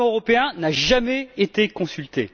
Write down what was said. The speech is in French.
Le Parlement européen n'a jamais été consulté.